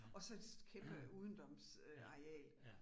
Og så et kæmpe udendørsareal